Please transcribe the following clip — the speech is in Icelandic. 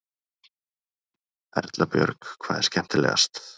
Erla Björg: Hvað er skemmtilegast?